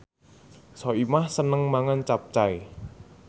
Soimah seneng mangan capcay